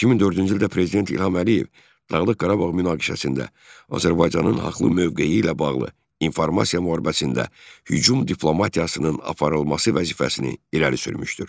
2004-cü ildə Prezident İlham Əliyev Dağlıq Qarabağ münaqişəsində Azərbaycanın haqlı mövqeyi ilə bağlı informasiya müharibəsində hücum diplomatiyasının aparılması vəzifəsini irəli sürmüşdür.